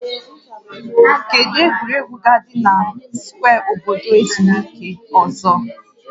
Kedu egwuregwu ga-adị na skwee obodo ezumike ọzọ?